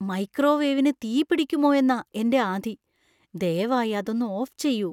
മൈക്രോവേവിനു തീപിടിക്കുമോയെന്നാ എന്‍റെ ആധി. ദയവായി അതൊന്ന് ഓഫ് ചെയ്യൂ.